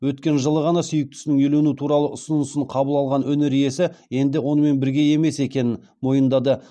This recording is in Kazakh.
өткен жылы ғана сүйіктісінің үйлену туралы ұсынысын қабыл алған өнер иесі енді онымен бірге емес екенін мойындады